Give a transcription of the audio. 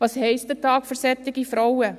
Was bedeutet ein Tag für solche Frauen?